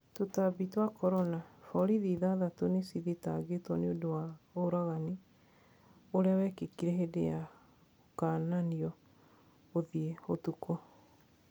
Tũtabi twa corona: Borithi ithathatũ nicithitagitwo niũndũ wa ũragani ũria wikikire hindi ya 'gũkananio gũtebea ũtuũko'.